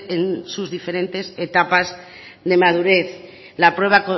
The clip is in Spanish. en sus diferentes etapas de madurez la prueba